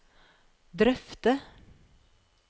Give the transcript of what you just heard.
drøfte